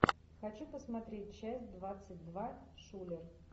хочу посмотреть часть двадцать два шулер